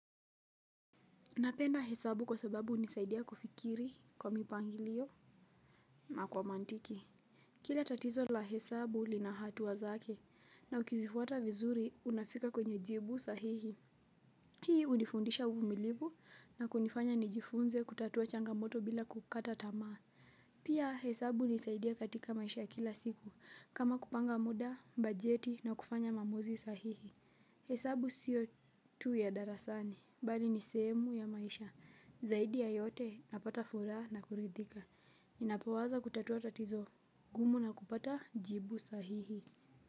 Napenda hesabu kwa sababu hunisaidia kufikiri kwa mipangilio na kwa mantiki. Kila tatizo la hesabu lina hatua zake na ukizifuata vizuri unafika kwenye jibu sahihi. Hii hunifundisha uvumilivu na kunifanya nijifunze kutatua changamoto bila kukata tamaa. Pia hesabu hunisaidia katika maisha ya kila siku kama kupanga muda, bajeti na kufanya maamuzi sahihi. Hesabu siyo tu ya darasani bali ni sehemu ya maisha zaidi ya yote napata furaha na kuridhika ninapoweza kutatua tatizo gumu na kupata jibu sahihi.